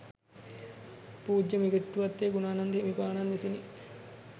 පූජ්‍ය මිගෙට්ටුවත්තේ ගුණානන්ද හිමිපාණන් විසිනි.